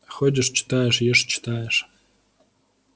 ходишь читаешь ешь читаешь